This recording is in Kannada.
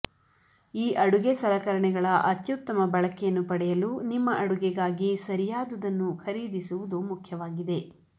ಈ ಅಡುಗೆ ಸಲಕರಣೆಗಳ ಅತ್ಯುತ್ತಮ ಬಳಕೆಯನ್ನು ಪಡೆಯಲು ನಿಮ್ಮ ಅಡುಗೆಗಾಗಿ ಸರಿಯಾದದನ್ನು ಖರೀದಿಸುವುದು ಮುಖ್ಯವಾಗಿದೆ